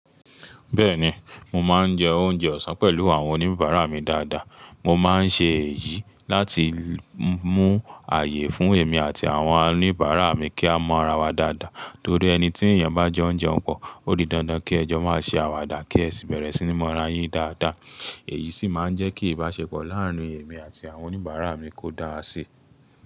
Bẹ́ẹ̀ni, mo máa ń jẹ oúnjẹ ọ̀sán pẹ̀lú àwọn oníbàárà mi dáadáa. Mo máa ń ṣe èyí láti mú ààyè fún èmi àti àwọn oníbàárà mi kí a mọ ara wa dáadáa, torí ẹni tí èèyàn bá jo n jeún pọ̀, ó di dandan kí ẹjọ́ má ṣe àwàdà kí ẹ sì bẹ̀rẹ̀ sí ní mọ ara yín dáadáa. Èyí sì máa ń jẹ́ kí ìbáṣepọ̀ láàárín èmi àti àwọn oníbàárà mi kó dára síi.